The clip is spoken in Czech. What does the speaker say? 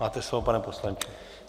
Máte slovo, pane poslanče.